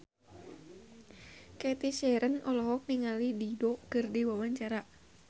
Cathy Sharon olohok ningali Dido keur diwawancara